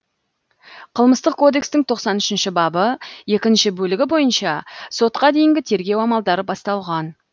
қылмыстық кодекстің тоқсан үшінші бабы екінші бөлігі бойынша сотқа дейінгі тергеу амалдары басталған